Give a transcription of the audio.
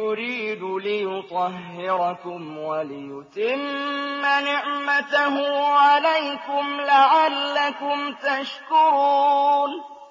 يُرِيدُ لِيُطَهِّرَكُمْ وَلِيُتِمَّ نِعْمَتَهُ عَلَيْكُمْ لَعَلَّكُمْ تَشْكُرُونَ